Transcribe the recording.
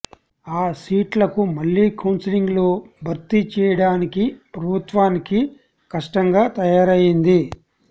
ఆ సీట్లకు మళ్లీ కౌన్సిలింగ్ లో భర్తి చెయ్యడానికి ప్రభుత్వానికి కష్టంగా తయారైయ్యింది